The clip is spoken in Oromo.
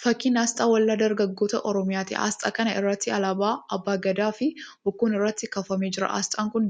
Fakkii asxaa Waldaa Dargaggoota Oromiyaati. Asxaa kana irra alaabaa Abbaa Gadaa fi bokkuun irratti kaafamee jira. Asxaan kun